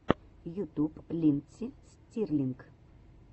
ютюб линдси стирлинг